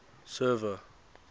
server